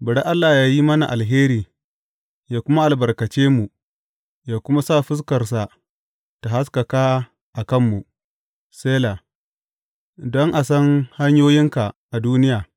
Bari Allah yă yi mana alheri yă kuma albarkace mu yă kuma sa fuskarsa ta haskaka a kanmu, Sela don a san hanyoyinka a duniya,